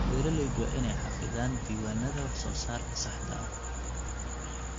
Beeraleydu waa inay xafidaan diiwaannada wax-soo-saarka saxda ah.